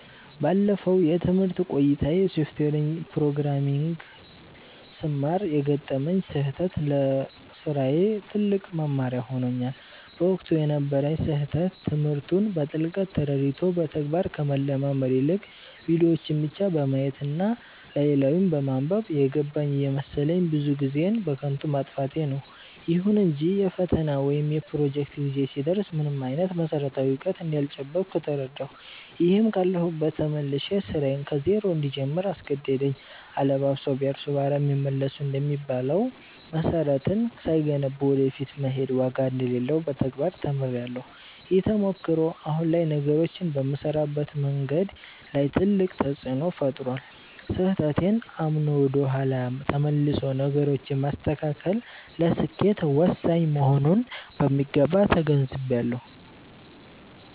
ባለፈው የትምህርት ቆይታዬ የሶፍትዌር ፕሮግራሚንግን ስማር የገጠመኝ ስህተት ለስራዬ ትልቅ መማሪያ ሆኖኛል። በወቅቱ የነበረኝ ስህተት ትምህርቱን በጥልቀት ተረድቶ በተግባር ከመለማመድ ይልቅ፣ ቪዲዮዎችን ብቻ በማየት እና ላይ ላዩን በማንበብ 'የገባኝ' እየመሰለኝ ብዙ ጊዜዬን በከንቱ ማጥፋቴ ነበር። ይሁን እንጂ የፈተና ወይም የፕሮጀክት ጊዜ ሲደርስ ምንም አይነት መሰረታዊ እውቀት እንዳልጨበጥኩ ተረዳሁ፤ ይህም ካለሁበት ተመልሼ ስራዬን ከዜሮ እንድጀምር አስገደደኝ።' አለባብሰው ቢያርሱ በአረም ይመለሱ' እንደሚባለው፣ መሰረትን ሳይገነቡ ወደ ፊት መሄድ ዋጋ እንደሌለው በተግባር ተምሬያለሁ። ይህ ተሞክሮ አሁን ላይ ነገሮችን በምሰራበት መንገድ ላይ ትልቅ ተፅእኖ ፈጥሯል። ስህተቴን አምኖ ወደ ኋላ ተመልሶ ነገሮችን ማስተካከል ለስኬት ወሳኝ መሆኑንም በሚገባ ተገንዝቤያለሁ።